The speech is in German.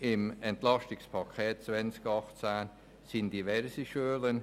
Das Wort haben die Fraktionen.